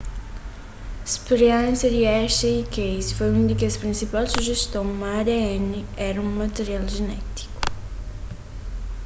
spiriénsia di hershey y chase foi un di kes prinsipal sujeston ma adn éra un material jenétiku